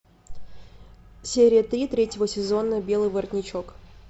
серия три третьего сезона белый воротничок